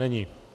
Není.